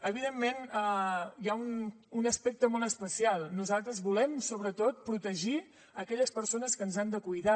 evidentment hi ha un aspecte molt especial nosaltres volem sobretot protegir aquelles persones que ens han de cuidar